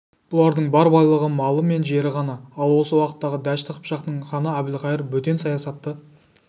бұлардың бар байлығы малы мен жері ғана ал осы уақыттағы дәшті қыпшақтың ханы әбілқайыр бөтен саясатты